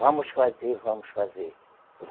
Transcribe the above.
Vamos fazer, vamos fazer.